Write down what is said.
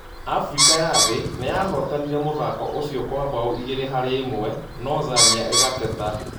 Afrika ya thĩ niyahũtanire mũthako ũcio kwa mbao igĩrĩ harĩ ĩmwe nũ Zania ĩgateta